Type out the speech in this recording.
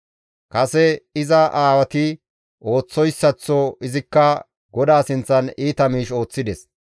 Kase iza aawati ooththoyssaththo izikka GODAA sinththan iita miish ooththides.